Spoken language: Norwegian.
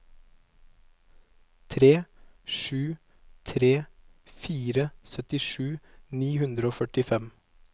tre sju tre fire syttisju ni hundre og førtifem